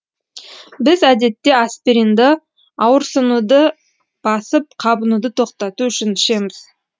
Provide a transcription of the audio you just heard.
біз әдетте аспиринді ауырсынуды басып қабынуды тоқтату үшін ішеміз